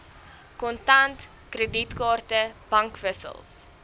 kontant kredietkaarte bankwissels